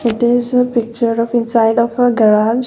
it is a picture of inside of a garage.